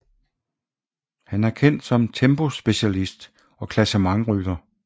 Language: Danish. Han er kendt som tempospecialist og klassementsrytter